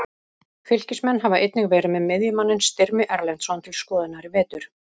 Fylkismenn hafa einnig verið með miðjumanninn Styrmi Erlendsson til skoðunar í vetur.